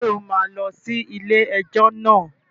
Ṣé o máa lọ sí ilé-ẹjọ́ náà?